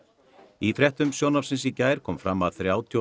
í fréttum sjónvarpsins í gær kom fram að þrjátíu og